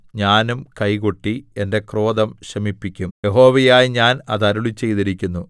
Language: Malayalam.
ഞാനും കൈകൊട്ടി എന്റെ ക്രോധം ശമിപ്പിക്കും യഹോവയായ ഞാൻ അത് അരുളിച്ചെയ്തിരിക്കുന്നു